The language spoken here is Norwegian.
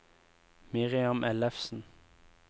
Miriam Ellefsen